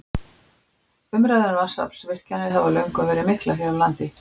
Umræður um vatnsaflsvirkjanir hafa löngum verið miklar hér á landi.